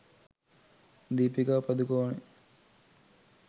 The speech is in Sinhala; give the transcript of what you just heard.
deepika padukone